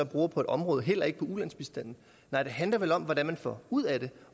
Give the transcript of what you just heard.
bruger på et område heller ikke på ulandsbistanden nej det handler vel om hvad man får ud af det